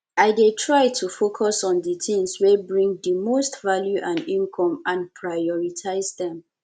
i dey try to focus on di tings wey bring di most value and income and prioritize dem